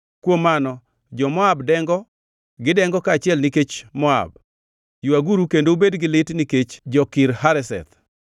Kuom mano jo-Moab dengo, gidengo kaachiel nikech Moab. Ywaguru kendo ubed gi lit nikech jo-Kir Hareseth.